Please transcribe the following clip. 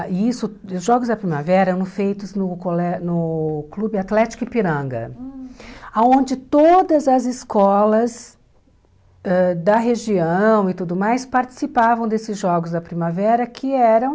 Isso e os Jogos da Primavera eram feitos no colé no Clube Atlético Ipiranga, aonde todas as escolas ãh da região e tudo mais participavam desses Jogos da Primavera, que eram...